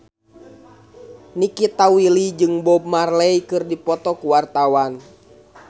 Nikita Willy jeung Bob Marley keur dipoto ku wartawan